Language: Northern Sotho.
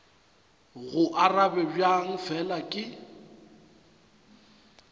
go arabe bjang fela ke